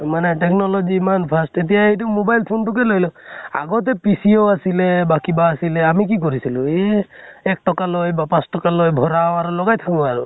মানে technology ইমান fast, এতিয়া এইটো mobile phone তো কে লৈ লোৱা, আগতে PCO আছিলে, বা কিবা আছিলে আমি কি কৰিছিলো এহ এক টকা লয় বা পাঁছ টকে লয় ভৰাও আৰু লগাই থাকো আৰু।